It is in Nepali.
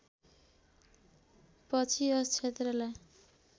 पछि यस क्षेत्रलाई